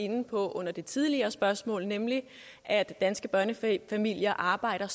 inde på under det tidligere spørgsmål nemlig at danske børnefamilier familie arbejder